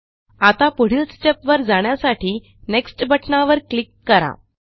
आता पुढील स्टेप वर जाण्यासाठी नेक्स्ट बटणावर क्लिक करा